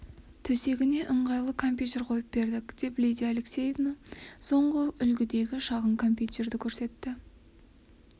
төсегіне ыңғайлап компьютер қойып бердік деп лидия алексеевна соңғы үлгідегі шағын компьютерді көрсетті